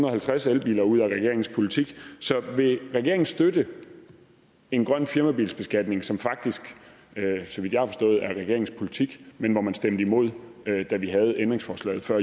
og halvtreds elbiler ud af regeringens politik så vil regeringen støtte en grøn firmabilbeskatning som faktisk så vidt jeg har forstået er regeringens politik men hvor man stemte imod da vi havde ændringsforslaget før